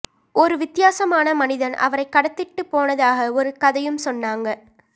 ஒரு வித்தியாசமான மனிதன் அவரைக் கடத்திட்டுப் போனதாக ஒரு கதையும் சொன்னாங்க